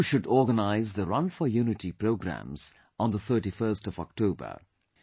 You too should organize the Run for Unity Programs on the 31st of October